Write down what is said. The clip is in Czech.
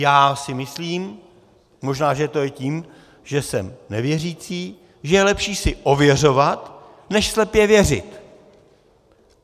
Já si myslím, možná že to je tím, že jsem nevěřící, že je lepší si ověřovat než slepě věřit.